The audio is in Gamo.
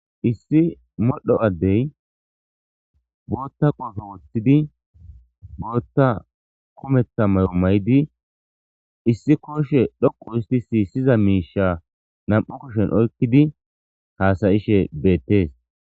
issi modho addey bootta qoofe woththidi bootta kometha may7o maydi issi kooshe dhoqu istisi siza miisha nam7u kushen oykkidi haasayishe beettees